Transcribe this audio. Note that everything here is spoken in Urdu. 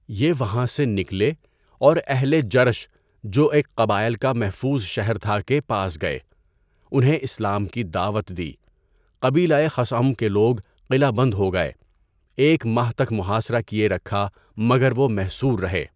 یہ وہاں سے نکلے اور اہل جرش جو ایک قبائل کا محفوظ شہر تھا، کے پاس گئے۔ انہیں اسلام کی دعوت دی۔ قبیلۂ خَثعَم کے لوگ قلعہ بند ہو گئے۔ ایک ماہ تک محاصرہ کیے رکھا مگر وہ محصور رہے۔